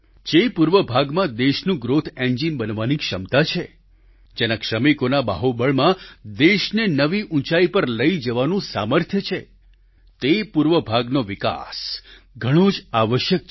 જે પૂર્વ ભાગમાં દેશનું ગ્રોથ એન્જિન બનવાની ક્ષમતા છે જેના શ્રમિકોના બાહુબળમાં દેશને નવી ઉંચાઈ પર લઈ જવાનું સામર્થ્ય છે તે પૂર્વ ભાગનો વિકાસ ઘણો જ આવશ્યક છે